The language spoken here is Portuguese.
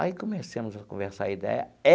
Aí, começamos a conversar a ideia.